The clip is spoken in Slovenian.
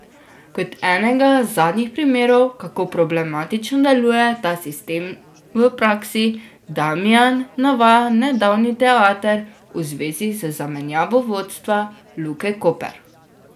Kot enega zadnjih primerov, kako problematično deluje ta sistem v praksi, Damijan navaja nedavni teater v zvezi z zamenjavo vodstva Luke Koper.